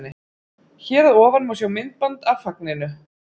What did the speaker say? Hér að ofan má sjá myndband af fagninu.